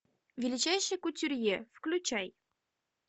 величайший кутюрье включай